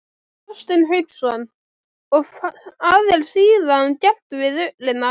Hafsteinn Hauksson: Og hvað er síðan gert við ullina?